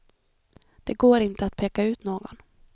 Det går inte att peka ut någon.